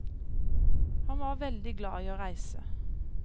Han var veldig glad i å reise.